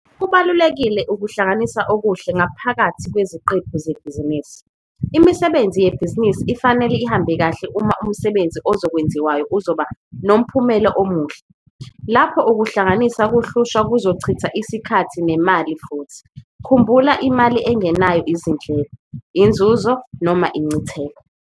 Kubalulekile ukunaka ukuhlanganisa okuhle ngaphakathi kweziqephu zebhizinisi. Imisebenzi yebhizinisi ifanele ihambe kahle uma umsebenzi ozokwenziwayo uzoba nomphumelo omuhle. Lapho ukuhlanganisa kuhlushwa kuzochitha isikhathi nemali futhi. Khumbula imali engenayo izindleko, inzuzo noma incitheko.